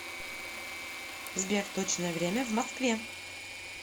сбер точное время в москве